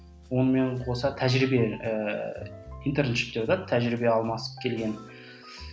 онымен қоса тәжірибе ііі тәжірибе алмасып келген